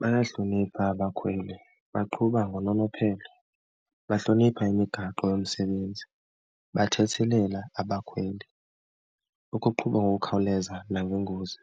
Bayahlonipha abakhweli, baqhuba ngononophelo, bahlonipha imigaqo yomsebenzi, bathethelela abakhweli, ukuqhuba ngokukhawuleza nangengozi,